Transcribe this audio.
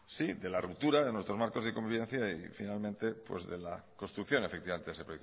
sí de la ruptura de nuestros marcos de convivencia y finalmente de la construcción efectivamente de ese